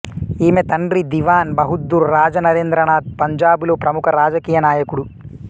ఈమె తండ్రి దివాన్ బహద్దూర్ రాజా నరేంద్రనాథ్ పంజాబులో ప్రముఖ రాజకీయ నాయకుడు